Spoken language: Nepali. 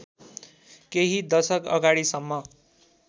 केही दशक अगाडिसम्म